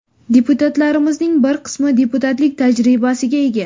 Deputatlarimizning bir qismi deputatlik tajribasiga ega.